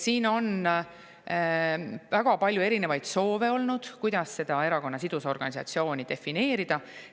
Siin on väga palju erinevaid soove olnud, kuidas seda erakonna sidusorganisatsiooni defineerida.